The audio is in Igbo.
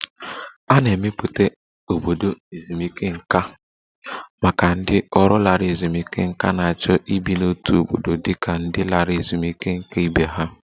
A na-emepụta obodo ezumike nká maka ndị ọrụ lara ezumike nká na-achọ ibi n'otu obodo dị ka ndị lara ezumike nká ibe ha